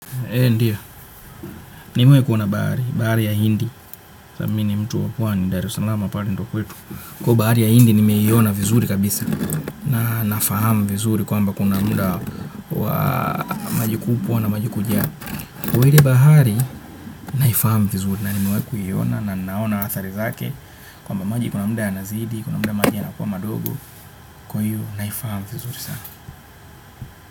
Ndio, nimewahi kuona bahari, bahari ya hindi, sababu mi ni mtu huwa ni Dar es Salaam na pale ndio kwetu. Kwa bahari ya hindi, nimeiona vizuri kabisa, na nafahamu vizuri kwamba kuna muda wa maji kubwa na maji kuja. Kwa ile bahari, naifahamu vizuri, na nimewahi kuiona na ninaona athari zake, kwamba maji kuna muda yanazidi, kuna muda maji yanakuwa madogo, kwa hiyo naifahamu vizuri sana.